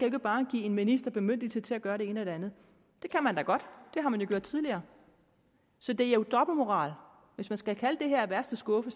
ikke bare give en minister bemyndigelse til at gøre det ene og det andet det kan man da godt det har man jo gjort tidligere så det er jo dobbeltmoral hvis man skal kalde det her af værste skuffe